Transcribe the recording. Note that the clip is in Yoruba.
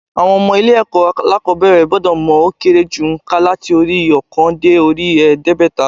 Àwọn ọmọ ilé ẹ̀kọ́ alákòóbẹ̀rẹ̀ gbọ́dọ̀ mọ ó kéré jù ònkà láti orí i óòkan dé orí i èédégbèta